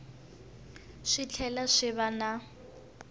swi tlhela swi va na